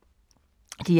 DR1